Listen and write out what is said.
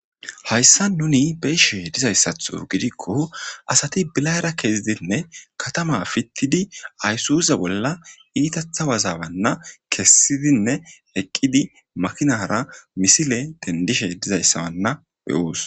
Hayssa nuni beishe dizayssatho gidikko asati bilayra kezidinne katama fittidi aysuze bolla iitathawazawanna kessidinne eqqidi makinara misile dendishe dizayssawanna be7oos.